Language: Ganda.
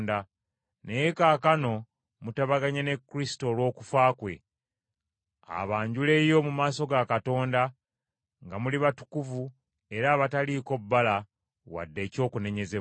Naye kaakano mutabaganye ne Kristo olw’okufa kwe, abanjuleyo mu maaso ga Katonda nga muli batukuvu era abataliiko bbala wadde ekyokunenyezebwa.